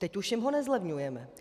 Teď už jim ho nezlevňujeme.